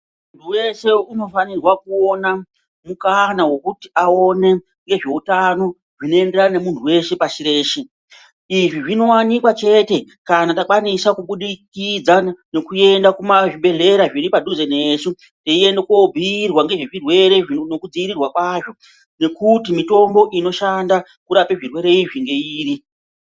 Muntu weshe unofanirwa kuona mukana wekuti aone ngezveutano zvinoenderana ngemuntu weshe pashi rino. Izvi zvinowanikwa chete kana takwanisa kubudikidza ngekuenda kuzvibhendleya zviri padhuze nesu. Teienda koobhurwa ngezvirwere ngekudziirirwa kwazvo ngekuti mitombo inoshanda kurapa zvirwere izvi ngeiri.